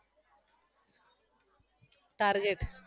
target